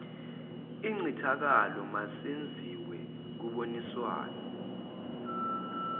incithakalo masenziwe kuboniswana